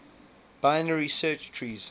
binary search trees